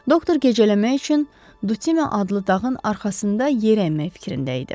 Doktor gecələmək üçün Dutin adlı dağın arxasında yer əymək fikrində idi.